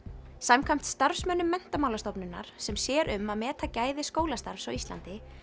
samkvæmt starfsmönnum Menntamálastofnunar sem sér um að meta gæði skólastarfs á Íslandi